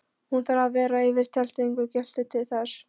Hún þarf að vera yfir tilteknu gildi til þess.